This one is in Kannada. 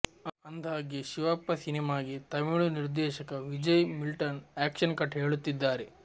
ಅಂದ್ಹಾಗೆ ಶಿವಪ್ಪ ಸಿನಿಮಾಗೆ ತಮಿಳು ನಿರ್ದೇಶಕ ವಿಜಯ್ ಮಿಲ್ಟನ್ ಆಕ್ಷನ್ ಕಟ್ ಹೇಳುತ್ತಿದ್ದಾರೆ